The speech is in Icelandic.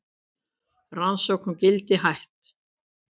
Rannsókn á Gildi hætt